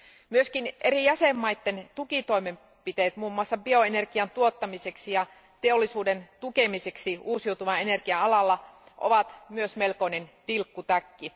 Myöskin eri jäsenvaltioiden tukitoimenpiteet, muun muassa bioenergian tuottamiseksi ja teollisuuden tukemiseksi uusiutuvan energian alalla, ovat myös melkoinen tilkkutäkki.